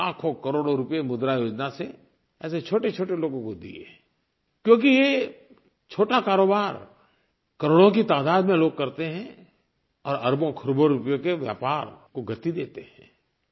लाखोंकरोड़ों रुपये मुद्रायोजना से ऐसे छोटेछोटे लोगों को दिए क्योंकि ये छोटा कारोबार करोड़ों की तादाद में लोग करते हैं और अरबोंखरबों रुपये के व्यापार को गति देते हैं